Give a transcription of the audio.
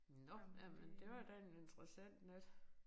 Nåh jamen det var da en interessant nat